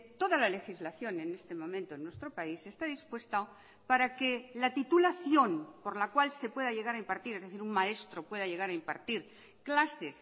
toda la legislación en este momento en nuestro país está dispuesta para que la titulación por la cual se pueda llegar a impartir es decir un maestro pueda llegar a impartir clases